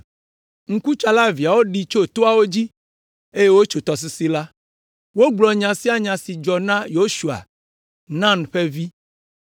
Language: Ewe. Ŋkutsala eveawo ɖi tso toawo dzi, eye wotso tɔsisi la. Wogblɔ nya sia nya si dzɔ la na Yosua, Nun ƒe vi.